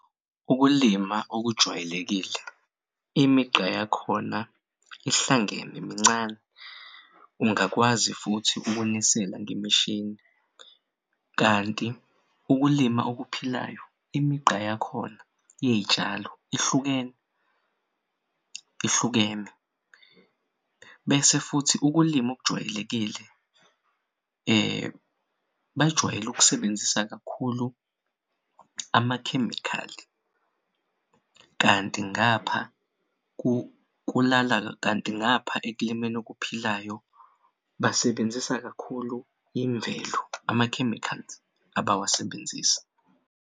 Ukulima okujwayelekile imigqa yakhona ihlangene mincane ungakwazi futhi ukunisela ngemishini kanti ukulima okuphilayo imigqa yakhona iy'tshalo ihlukene, ihlukene bese futhi ukulima okujwayelekile bajwayele ukusebenzisa kakhulu amakhemikhali kanti ekulimeni okuphilayo basebenzisa kakhulu imvelo ama-chemicals abawasebenzisi.